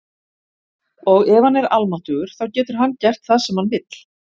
Og ef hann er almáttugur þá getur hann gert það sem hann vill.